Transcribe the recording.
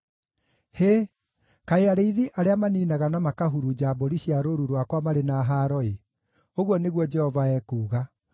“Hĩ! Kaĩ arĩithi arĩa maniinaga na makahurunja mbũri cia rũũru rwakwa marĩ na haaro-ĩ!” ũguo nĩguo Jehova ekuuga.